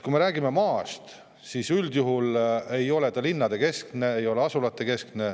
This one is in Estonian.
Kui me räägime maast, siis üldjuhul ei ole ta linnadekeskne, ei ole asulatekeskne.